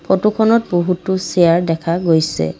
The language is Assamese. ফটোখনত বহুতো চেয়াৰ দেখা গৈছে।